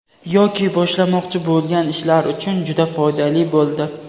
yoki boshlamoqchi bo‘lgan ishlari uchun juda foydali bo‘ldi.